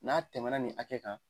N'a tɛmɛna nin hakɛ kan